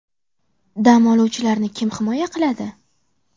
Dam oluvchilarni kim himoya qiladi?!